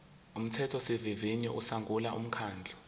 umthethosivivinyo usungula umkhandlu